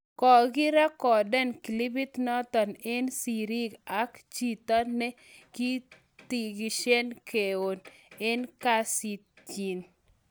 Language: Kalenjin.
kokirecodan clipit nato eng siri ak chito ne kokitishane keon eng kassitnyi